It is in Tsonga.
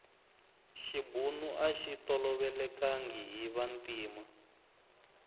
xibunu axi tolovelekangi hi vantima